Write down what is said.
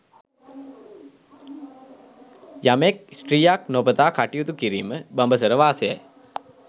යමෙක් ස්ත්‍රියක් නොපතා කටයුතු කිරීම බඹසර වාසයයි.